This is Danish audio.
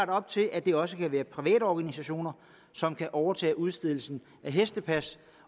op til at det også kan være private organisationer som kan overtage udstedelsen af hestepas